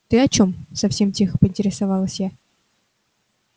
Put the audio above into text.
ты о чём совсем тихо поинтересовалась я